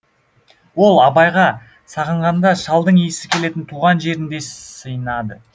ол абайға сағынғанда шалдың иісі келетін туған жеріндей сыйынады